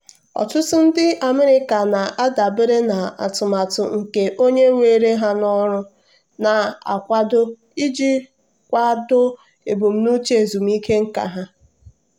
ọtụtụ ndị america na-adabere na atụmatụ nke onye were ha n'ọrụ na-akwado iji kwado ebumnuche ezumike nka ha.